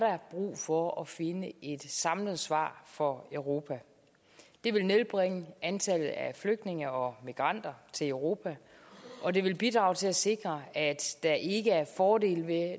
brug for at finde et samlet svar for europa det vil nedbringe antallet af flygtninge og migranter til europa og det vil bidrage til at sikre at der ikke er fordele ved